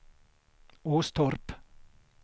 Åstorp